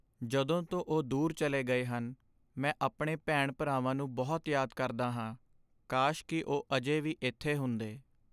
ਜਦੋਂ ਤੋਂ ਉਹ ਦੂਰ ਚੱਲੇ ਗਏ ਹਨ, ਮੈਂ ਆਪਣੇ ਭੈਣ ਭਰਾਵਾਂ ਨੂੰ ਬਹੁਤ ਯਾਦ ਕਰਦਾ ਹਾਂਕਾਸ਼ ਕੀ ਉਹ ਅਜੇ ਵੀ ਇੱਥੇ ਹੁੰਦੇ